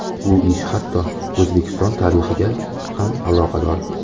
Bu ish hatto O‘zbekiston tarixiga ham aloqador.